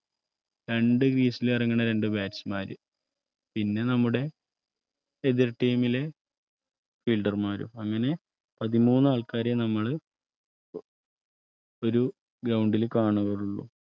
രണ്ടുവീസിൽ ഇറങ്ങണ രണ്ടു Batchman ര് പിന്നെ നമ്മുടെ എതിർ Team ലെ Fielder മാരും അങ്ങനെ പതിമൂന്ന് ആൾക്കാരെ നമ്മൾ ഒരു Ground ൽ കാണുകയുള്ളൂ